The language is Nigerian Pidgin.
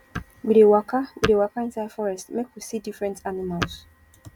we dey waka we dey waka inside forest make we see different animals